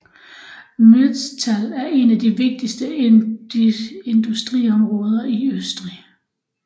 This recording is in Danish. Mürztal er et af de vigtigste industriområder i Østrig